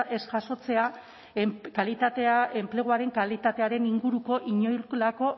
ez jasotzea kalitatea enpleguaren kalitatearen inguruko inolako